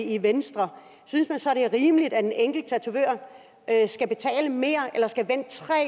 i venstre synes man så det er rimeligt at en enkelt tatovør skal betale mere eller skal vente tre